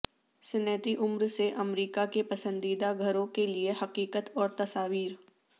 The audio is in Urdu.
صنعتی عمر سے امریکہ کے پسندیدہ گھروں کے لئے حقیقت اور تصاویر